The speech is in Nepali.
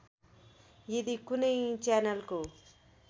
यदि कुनै च्यानलको